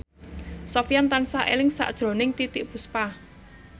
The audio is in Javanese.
Sofyan tansah eling sakjroning Titiek Puspa